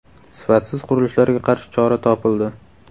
Sifatsiz qurilishlarga qarshi chora topildi.